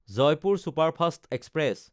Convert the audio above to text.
Jaipur superfast express